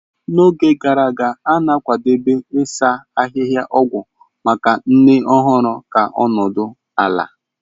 N'oge gara aga, a na-akwadebe ebe ịsa ahịhịa ogwu maka nne ọhụrụ ka ọ nọdụ ala.